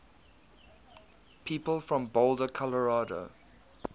people from boulder colorado